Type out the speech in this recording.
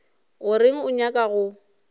o reng o nyaka go